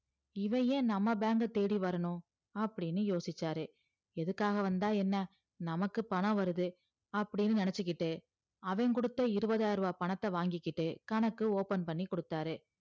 இவ ஏன் நம்ம bank அ தேடி வரணும் அப்டின்னு யோசிச்சாரு எதுக்காக வந்தா என்ன நமக்கு பணம் வருது அப்டின்னு நினச்சிகிட்டு அவன் கொடுத்த இருவதாயரூவா பணத்த வாங்கிகிட்டு கணக்கு open பண்ணி கொடுத்தாரு